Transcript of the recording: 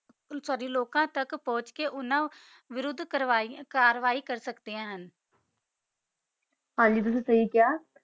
ਸਾਡੀ ਲੋਕਾ ਤਕ ਪੋੰਛ ਕਾ ਓਨਾ ਤਾ ਵੋਆਰਾਦ ਕਾਰਵੀ ਕਰ ਸਕ ਦਾ ਆ ਹਨ ਗੀ ਤੁਸੀਂ ਸੀ ਖਾ ਆ